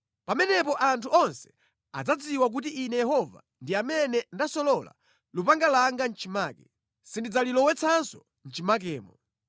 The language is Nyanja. Pamenepo anthu onse adzadziwa kuti Ine Yehova ndi amene ndasolola lupanga langa mʼchimake; sindidzalilowetsanso mʼchimakemo.’